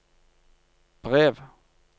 brev